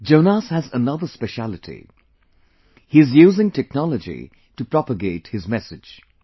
Jonas has another specialty he is using technology to propagate his message